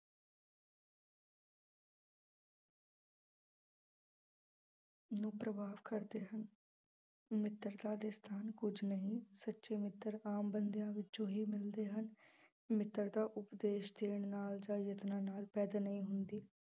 ਨੂੂੰ ਪ੍ਰਭਾਵ ਕਰਦੇ ਹਨ ਮਿੱਤਰਤਾ ਦੇ ਸਥਾਨ ਕੁੱਝ ਨਹੀਂ, ਸੱਚੇ ਮਿੱਤਰ ਆਮ ਬੰਦਿਆਂ ਵਿੱਚੋਂ ਹੀ ਮਿਲਦੇ ਹਨ, ਮਿੱਤਰਤਾ ਉਪਦੇਸ਼ ਦੇਣ ਨਾਲ ਜਾਂ ਯਤਨਾਂ ਨਾਲ ਪੈਦਾ ਨਹੀਂ ਹੁੰਦੀ।